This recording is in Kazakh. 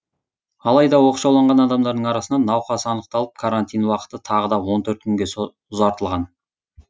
алайда оқшауланған адамдардың арасынан науқас анықталып карантин уақыты тағы да он төрт күнге ұзартылған